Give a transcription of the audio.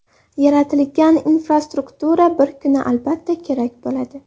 Yaratilgan infrastruktura bir kuni albatta kerak bo‘ladi.